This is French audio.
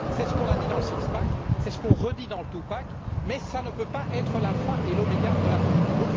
C'est ce qu'on a dit dans le six pack c'est ce qu'on redit dans le two pack mais ça ne peut pas être l'alpha et l'oméga de la politique.